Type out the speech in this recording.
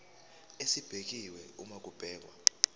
esibekiwe uma kubhekwa